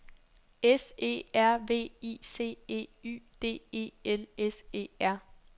S E R V I C E Y D E L S E R